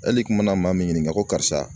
Hali i kun mana maa min ɲininka ko karisa